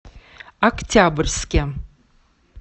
октябрьске